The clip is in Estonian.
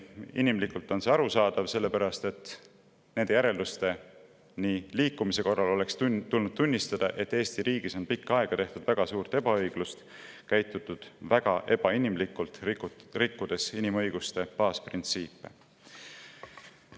Inimlikult on see arusaadav: sellepärast, et nende järeldusteni liikumise korral oleks tulnud tunnistada, et Eesti riigis on pikka aega tehtud väga suurt ebaõiglust, käitutud väga ebainimlikult, rikutud inimõiguste baasprintsiipe.